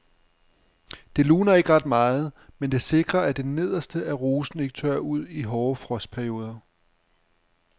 Det luner ikke ret meget, men det sikrer at det nederste af rosen ikke tørrer ud i hårde frostperioder.